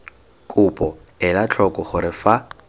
kopo ela tlhoko gore fa